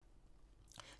TV 2